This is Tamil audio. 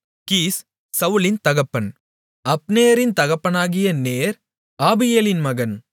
கீஸ் சவுலின் தகப்பன் அப்னேரின் தகப்பனாகிய நேர் ஆபியேலின் மகன்